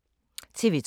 TV 2